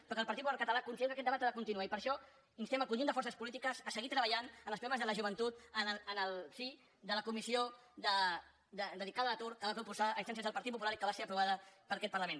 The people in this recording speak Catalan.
però el partit popular català considera que aquest debat ha de continuar i per això instem el conjunt de forces polítiques a seguir treballant en els problemes de la joventut en el si de la comissió dedicada a l’atur que es va proposar a instàncies del partit popular i que va ser aprovada per aquest parlament